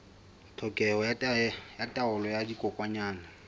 tlhokeho ya taolo ya dikokwanyana